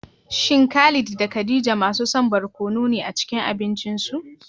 Shin Khalid da Khadija masu son barkono ne a cikin abincinsu?